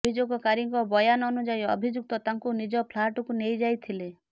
ଅଭିଯୋଗକାରୀଙ୍କ ବୟାନ ଅନୁଯାୟୀ ଅଭିଯୁକ୍ତ ତାଙ୍କୁ ନିଜ ଫ୍ଲାଟକୁ ନେଇଯାଇଥିଲେ